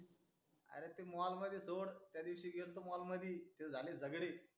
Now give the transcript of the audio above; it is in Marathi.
अरे ते mall मध्ये सोड त्या दिवसी गेलतो mall मधी तिथे झाले झगडे